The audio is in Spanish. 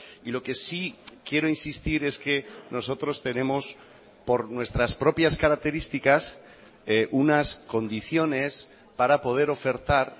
y lo que sí quiero insistir es que nosotros tenemos por nuestras propias características unas condiciones para poder ofertar